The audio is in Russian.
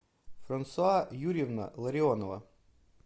франсуа юрьевна ларионова